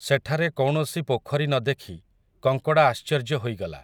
ସେଠାରେ କୌଣସି ପୋଖରୀ ନ ଦେଖି, କଙ୍କଡ଼ା ଆଶ୍ଚର୍ଯ୍ୟ ହୋଇଗଲା ।